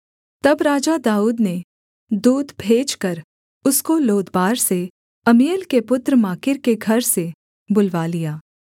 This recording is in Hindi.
तब राजा दाऊद ने दूत भेजकर उसको लोदबार से अम्मीएल के पुत्र माकीर के घर से बुलवा लिया